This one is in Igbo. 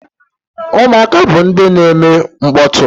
Ụmụaka bụ ndị na-eme mkpọtụ.